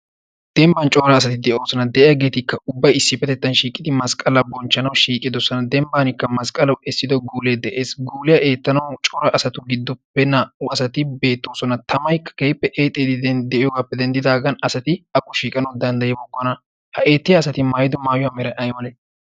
dembban coora asati de7oosana .de7iyaageetikka ubbai issip petettan shiiqidi masqqala bonchchanau shiiqi dossana dembbankka masqqalau essido guulee de7ees guuliyaa eettanau coora asatu giddoppe naa77u asati beettoosona tamai keippe axxiidide7iyoogaappe denddidaagan asati aqqu shiiqanau danddayi bokkona ha eettiya asati maayido maayuwaa mera7ai malee?